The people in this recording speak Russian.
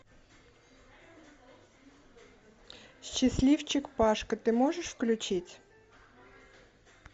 счастливчик пашка ты можешь включить